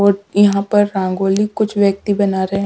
और यहां पर रंगोली कुछ व्यक्ति बना रहे हैं।